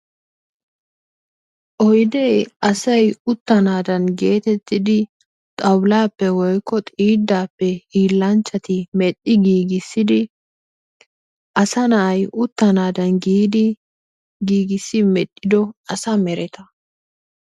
Oyidee asay utanadanni getettidi xawulappe woyko xidappe hilanchatti merhii gigisiddi asa nay utanadanni giddi gigissiddi medhido asa merttaa.